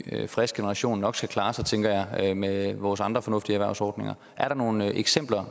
frisk generation nok skal klare sig tænker jeg med vores andre fornuftige erhvervsordninger er der nogle eksempler